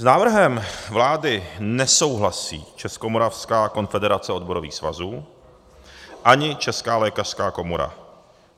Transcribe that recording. S návrhem vlády nesouhlasí Českomoravská konfederace odborových svazů ani Česká lékařská komora.